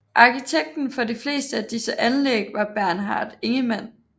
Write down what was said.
Arkitekten for de fleste af disse anlæg var Bernhard Ingemann